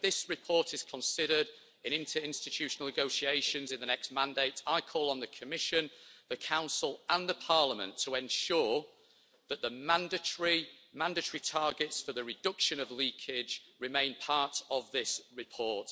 When this report is considered in interinstitutional negotiations in the next mandate, I call on the Commission, the Council and Parliament to ensure that the mandatory targets for the reduction of leakage remain part of this report.